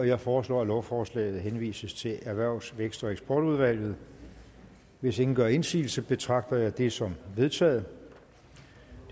jeg foreslår at lovforslaget henvises til erhvervs vækst og eksportudvalget hvis ingen gør indsigelse betragter jeg det som vedtaget